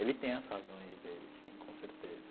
Ele tem as razões dele, sim, com certeza.